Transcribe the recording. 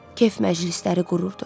Kef məclisləri qururdu.